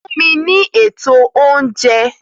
Fún mi ní ètò oúnjẹ!